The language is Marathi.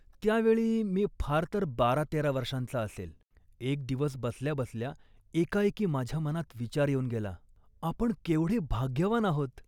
त्या वेळी मी फार तर बारातेरा वर्षांचा असेन. एक दिवस बसल्याबसल्या एकाएकी माझ्या मनात विचार येऊन गेला, आपण केवढे भाग्यवान आहोत